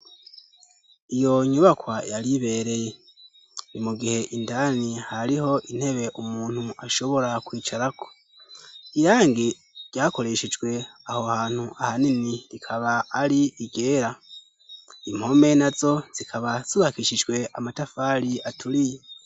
Iyo nyubakwa yaribereye ri mugihe indani hariho intebe umuntu ashobora kwicara ko irange ryakoreshejwe aho hantu ahanini rikaba ari igera impome na zo zikaba subakishijwe amatafali aturiye.